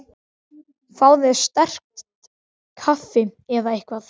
Fáðu þér sterkt kaffi eða eitthvað.